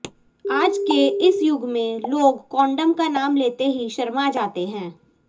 आज के इस युग में लोग कॉन्डोम का नाम लेते ही शर्मा जाते हैं